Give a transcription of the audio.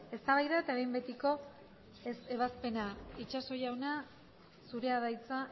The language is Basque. eztabaida eta behin betiko ebazpena itxaso jauna zurea da hitza